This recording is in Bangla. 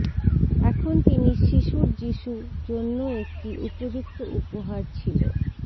এখন তিনি শিশুর যীশু জন্য একটি উপযুক্ত উপহার ছিল